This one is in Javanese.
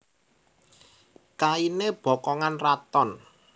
Kainé bokongan raton